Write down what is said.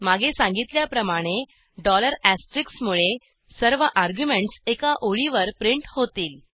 मागे सांगितल्याप्रमाणे मुळे सर्व अर्ग्युमेंटस एका ओळीवर प्रिंट होतील